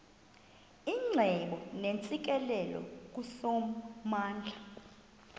icebo neentsikelelo kusomandla